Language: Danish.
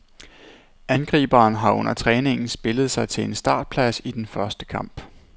Angriberen har under træningen spillet sig til en startplads i den første kamp.